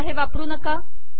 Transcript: सध्या हे वापरू नका